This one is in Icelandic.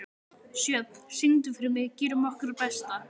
Sjöfn, syngdu fyrir mig „Gerum okkar besta“.